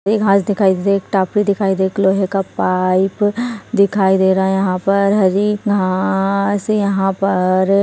हरी घास दिखाई दे एक टापू दिखाई दे एक लोहे का पाइप दिखाई दे रहा है यहां पर हरी घास यहां पर--